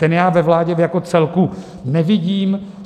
Ten já ve vládě jako celku nevidím.